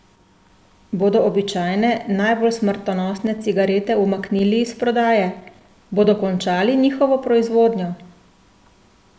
Bodo običajne, najbolj smrtonosne cigarete umaknili iz prodaje, bodo končali njihovo proizvodnjo?